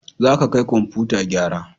Za ka kai komfutan gyara!